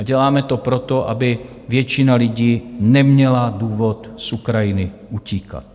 A děláme to proto, aby většina lidí neměla důvod z Ukrajiny utíkat.